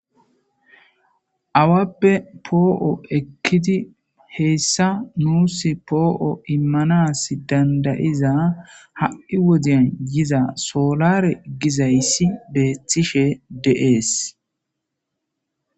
Awappe poo7o ekkidi heyssa muusi poo7o immanas dandayiza ha7i wodeyan yiza soolare gizayssi beeththishe deees.